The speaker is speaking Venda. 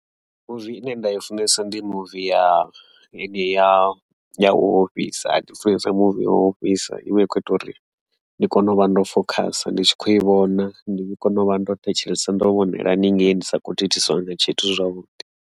Mi muvi ine nda i funesa ndi muvi ya ya ya u ofhisa ndi funesa mimuvi ya u ofhisa ivha i kho ita uri ndi kone u vha ndo fokhasa ndi tshi kho i vhona ndi kone u vha ndo thetshelesa ndo vhonela haningei ndi sa kho thithisiwa nga tshithu zwavhuḓi.